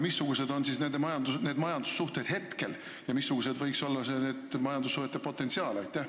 Missugused on need majandussuhted hetkel ja missugune võiks olla majandussuhete potentsiaal?